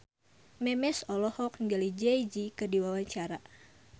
Memes olohok ningali Jay Z keur diwawancara